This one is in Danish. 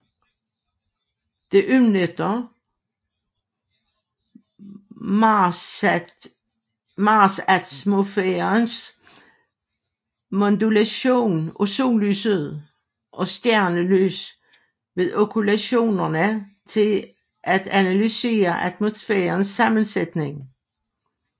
Det udnytter marsatmosfærens modulation af sollyset og stjernelys ved okkultationer til at analysere atmosfærens sammensætning